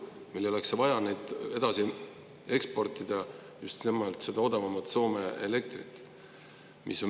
Meil ei oleks vaja edasi eksportida just nimelt seda odavamat Soome elektrit.